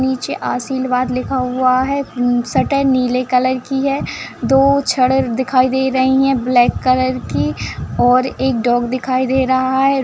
नीचे आशिलवाद लिखा हुआ है सटल नीले कलर की है दो छड़ दिखाई दे रही है ब्लैक कलर की और एक डॉग दिखाई दे रहा है।